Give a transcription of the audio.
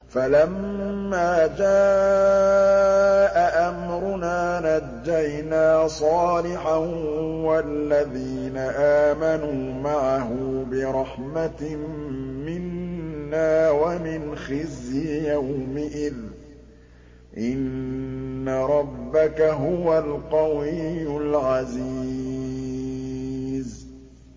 فَلَمَّا جَاءَ أَمْرُنَا نَجَّيْنَا صَالِحًا وَالَّذِينَ آمَنُوا مَعَهُ بِرَحْمَةٍ مِّنَّا وَمِنْ خِزْيِ يَوْمِئِذٍ ۗ إِنَّ رَبَّكَ هُوَ الْقَوِيُّ الْعَزِيزُ